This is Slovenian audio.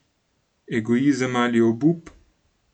Egoizem ali obup?